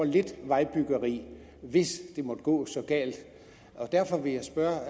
lidt vejbyggeri hvis det måtte gå så galt derfor vil jeg spørge